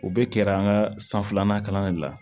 U bɛ kɛra an ka san filanan kalan de la